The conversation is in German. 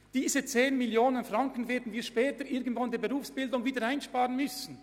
Diese 10 Mio. Franken werden wir später irgendwann bei der Berufsbildung einsparen müssen.